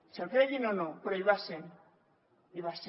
se’l creguin o no però hi va ser hi va ser